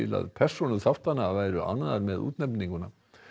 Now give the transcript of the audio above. að persónur þáttanna væru ánægðar með útnefninguna